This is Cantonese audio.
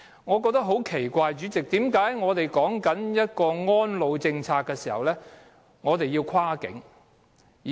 我覺得很奇怪，主席，為何我們的安老政策要有跨境安排。